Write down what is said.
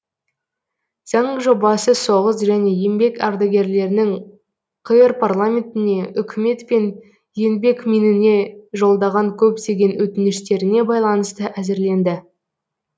заң жобасы соғыс және еңбек ардагерлерінің қр парламентіне үкімет пен еңбекминіне жолдаған көптеген өтініштеріне байланысты әзірленді